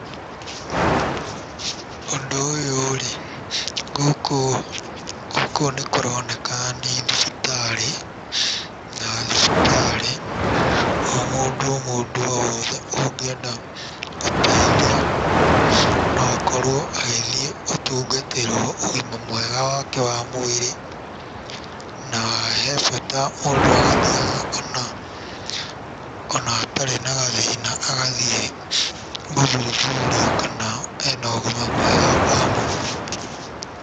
Ũndũ ũyũ rĩ, gũkũ gũkũ nĩkũroneka nĩ thibitarĩ, na thibitarĩ o mũndũ o mũndũ o wothe ũngĩenda ũteithio no akorwo agithiĩ gũtungatĩrwo ũgima mwega wake wa mwĩrĩ, na he bata mũndũ agathiaga ona, ona atarĩ na gathĩna, agathiĩ gũthuthurio kana ena ũgima mwega wa mwĩrĩ.